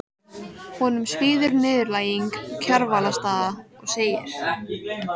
Honum svíður niðurlæging Kjarvalsstaða og segir